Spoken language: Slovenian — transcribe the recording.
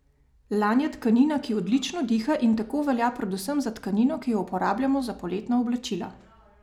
Lan je tkanina, ki odlično diha in tako velja predvsem za tkanino, ki jo uporabljamo za poletna oblačila.